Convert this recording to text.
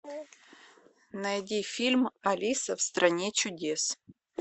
найди фильм алиса в стране чудес